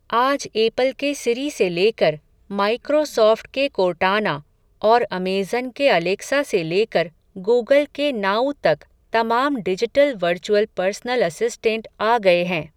आज एपल के सीरी से लेकर, माइक्रोसॉफ़्ट के कोर्टाना, और अमेज़न के अलेक्सा से लेकर, गूगल के नाऊ तक, तमाम डिजिटल वर्चुअल पर्सनल असिस्टेंट आ गए हैं.